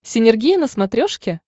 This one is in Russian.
синергия на смотрешке